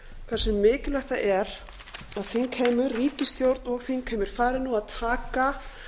hversu mikilvægt það er að þingheimur ríkisstjórn og þingheimur fari nú að taka